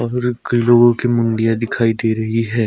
और अब कई लोगो की मुंडिया दिखाई दे रही है।